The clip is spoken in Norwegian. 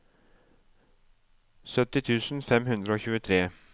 sytti tusen fem hundre og tjuetre